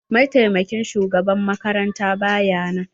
mataimakin shugaban makaranta ba ya nan.